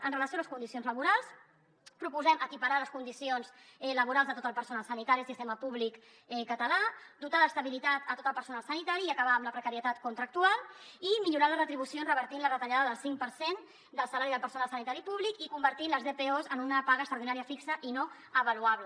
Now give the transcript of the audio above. amb relació a les condicions laborals proposem equiparar les condicions laborals de tot el personal sanitari i del sistema públic català dotar d’estabilitat a tot el personal sanitari i acabar amb la precarietat contractual i millorar les retribucions revertint la retallada del cinc per cent del salari del personal sanitari públic i convertint les dpos en una paga extraordinària fixa i no avaluable